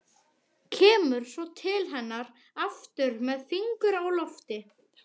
Kemur svo til hennar aftur með fingur á lofti.